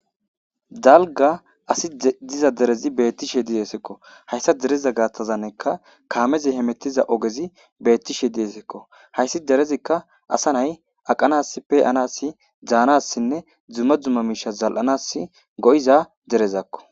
dalga asi diza derezi beettishe diyesekko hayssa dereza gaattazanneka kaamezi hemettiza ogezi beettishe diyesekko hayssi derezikka asa nay aqanas peyanasi daanassinne dzuma dzumma miisha zal7anas go7iza derezakko